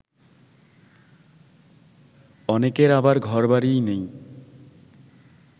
অনেকের আবার ঘরবাড়িই নেই